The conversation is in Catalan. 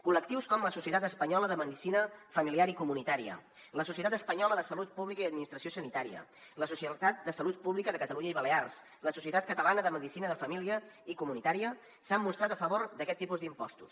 col·lectius com la societat espanyola de medicina familiar i comunitària la societat espanyola de salut pública i administració sanitària la societat de salut pública de catalunya i balears la societat catalana de medicina de família i comunitària s’han mostrat a favor d’aquests tipus d’impostos